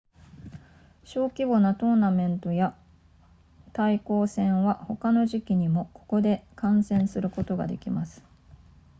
小規模なトーナメントや対抗戦は他の時期にもここで観戦することができます